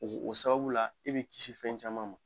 O o sababu la e be kisi fɛn caman ma.